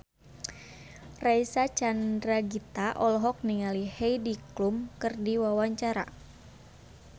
Reysa Chandragitta olohok ningali Heidi Klum keur diwawancara